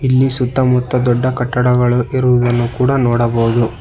ಇಲ್ಲಿ ಸುತ್ತಮುತ್ತ ದೊಡ್ಡ ಕಟ್ಟಡಗಳು ಇರುವುದನ್ನು ಕೂಡ ನೋಡಬಹುದು.